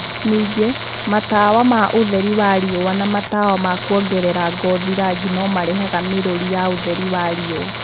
Ningĩ, matawa ma ũtheri wa riũa na matawa ma kũongerera ngothi rangi no maheanaga mĩrũri ya ũtheri wa riũa.